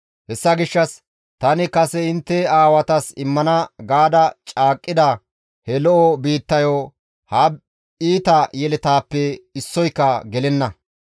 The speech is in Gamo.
hessa gishshas, ‹Tani kase intte aawatas immana gaada caaqqida he lo7o biittayo ha iita yeletaappe issoyka gelenna.